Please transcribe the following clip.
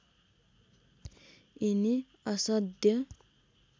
यिनी असाध्य